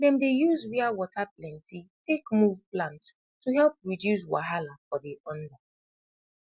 dem dey use wia wata plenti tak move plants to help reduce wahala for de under